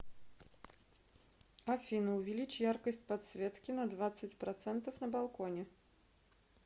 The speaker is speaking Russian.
афина увеличь яркость подсветки на двадцать процентов на балконе